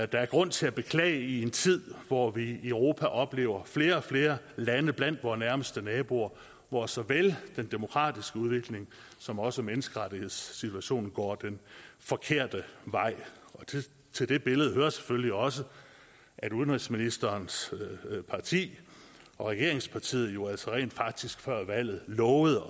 der er grund til at beklage i en tid hvor vi i europa oplever flere og flere lande blandt vore nærmeste naboer hvor såvel den demokratiske udvikling som også menneskerettighedssituationen går den forkerte vej til det billede hører selvfølgelig også at udenrigsministerens parti regeringspartiet jo altså rent faktisk før valget lovede